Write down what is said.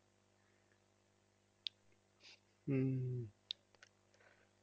হম